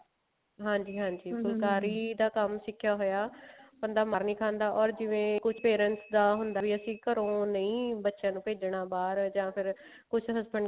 ਹਾਂਜੀ ਹਾਂਜੀ ਦਾ ਕੰਮ ਸਿੱਖਿਆ ਹੋਇਆ ਬੰਦਾ ਮਾਰ ਨੀ ਖਾਂਦਾ or ਜਿਵੇਂ ਕੁਛ parents ਦਾ ਹੁੰਦਾ ਵੀ ਅਸੀਂ ਘਰੋਂ ਨਹੀ ਬੱਚਿਆਂ ਨੂੰ ਭੇਜਣਾ ਬਾਹਰ ਜਾਂ ਫ਼ੇਰ ਕੁਛ husband